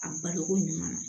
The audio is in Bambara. A baloko ɲuman na